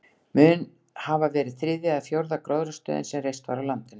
Mun hafa verið þriðja eða fjórða gróðrarstöðin sem reist var á landinu.